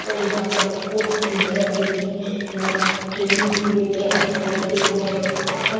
और यहाँ पर कोच भी है जो की यहाँ ट्रैंनिंग दिए गए हैं लड़के को और यहाँ पर --